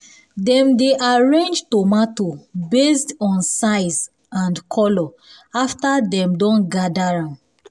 dem dey arrange tomato based on size and colour after dem don gather am